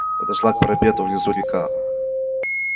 подошла к парапету внизу река